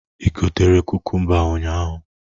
Igotere kukumba ahụ ụnyaahụ?